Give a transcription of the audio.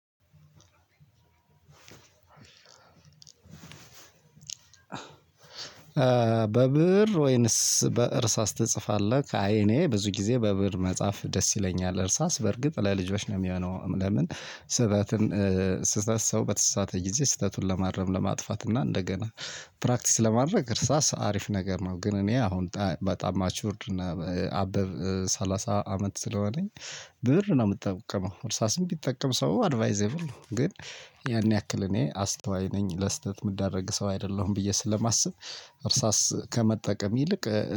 በብእር ወይንስ በእርሳስ ትጽፋለህ? አይ እኔ ብዙ ጊዜ በብእር መጽሐፍ ደስ ይለኛል እርሳስ በርግጥ ለልጆች ነው የሚሆነው። ለምን ስህተትን? ስህተት ሰው በተሳሰተ ጊዜ ስህተቱን ለማረም ለማጥፋት እና እንደገና ፕራክቲስ ለማድረግ እርሳስ አሪፍ ነገር ነው። ግን እኔ አሁን በጣም ማቹርድ እና አበብ ሰላሳ አመት ስለሆነኝ። ብእር ነው የምትጠቀመው እርሳስም ቢጠቀም ሰው አድቫይዜብል ነው። ግን ያን ያክል እኔ አስተዋይ ነኝ ለስህተት የምደረግ ሰው አይደለሁም ብዬ ስለማስብ። እርሳስ ከመጠቀም ይልቅ